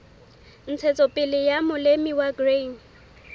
ntshetsopele ya molemi wa grain